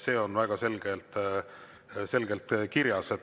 See on väga selgelt kirjas.